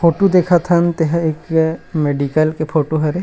Photo देखत हन तेहा एक मेडिकल के फोटू हरे।